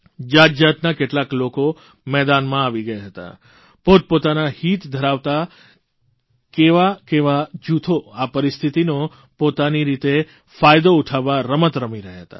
જાતજાતના કેટલા લોકો મેદાનમાં આવી ગયા હતા પોતપોતાનાં હિત ધરાવતા કેવાકેવા જૂથો આ પરિસ્થિતિનો પોતાની રીતે ફાયદો ઉઠાવવા રમત રમી રહ્યા હતા